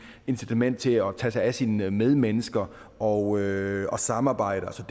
incitamentet til at tage sig af sine medmennesker og og samarbejde